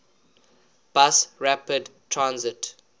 bus rapid transit